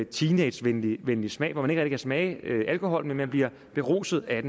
teenagevenlig smag hvor man ikke rigtig kan smage alkoholen men bliver beruset af